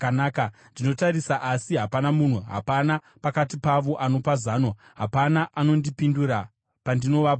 Ndinotarisa asi hapana munhu, hapana pakati pavo anopa zano, hapana anondipindura pandinovabvunza.